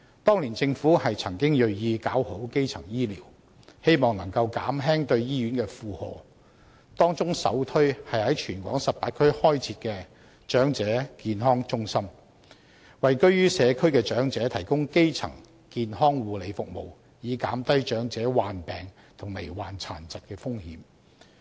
當年政府曾銳意搞好基層醫療，希望能夠減輕對醫院的負荷，當中首推是在全港18區開設長者健康中心，為居於社區的長者提供基層健康護理服務，以減低長者患病和罹患殘疾的風險。